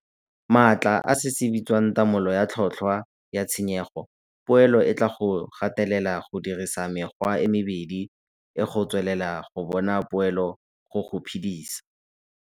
Maatla a se se bitswang tamolo ya tlhotlhwa ya tshenyego-poelo e tlaa go gatelela go dirisa mekgwa e mebedi e go tswelela go bona poelo go go phedisa.